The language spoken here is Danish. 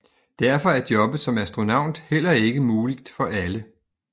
Derfor er jobbet som astronaut heller ikke muligt for alle